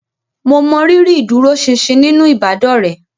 Mo mọrírì ìdúróṣinṣin nínú ìbádọ́rẹ̀ẹ́